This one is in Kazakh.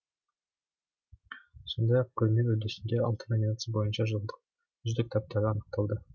сондай ақ көрме үрдісінде алты номинация бойынша жылдың үздік кітаптары анықталады